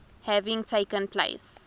having taken place